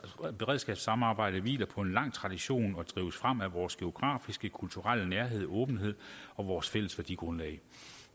og beredskabssamarbejde hviler på en lang tradition og drives frem af vores geografiske og kulturelle nærhed og åbenhed og vores fælles værdigrundlag